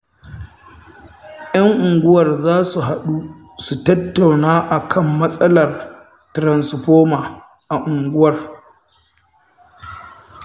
Yan unguwar za su haɗu su tattauna a kan matsalar tiransifoma a unguwar